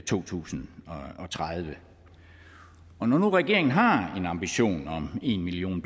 to tusind og tredive når nu regeringen har en ambition om en million